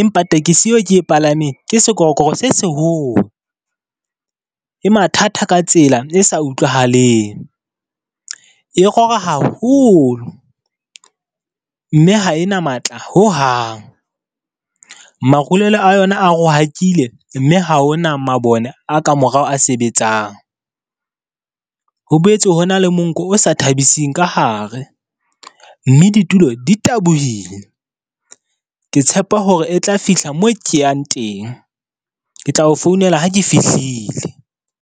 empa tekesi eo ke e palameng ke sekorokoro se seholo. E mathata ka tsela e sa utlwahaleng e rora haholo, mme ha e na matla ho hang. Marulelo a yona a rohakile, mme ha ho na mabone a ka morao a sebetsang. Ho boetse ho na le monko o sa thabising ka hare, mme ditulo di tabohile. Ke tshepa hore e tla fihla mo ke yang teng, ke tlao founela ha ke fihlile.